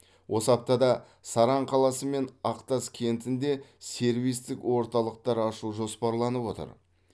осы аптада саран қаласы мен ақтас кентінде сервистік орталықтар ашу жоспарланып отыр